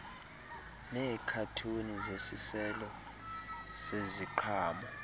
neekhathuni zesiselo seziqhamo